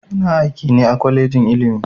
Ina aiki ne a kwalejin ilimi